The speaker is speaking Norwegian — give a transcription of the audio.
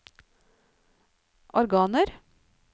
organer